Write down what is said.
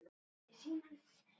Er þetta fullt starf?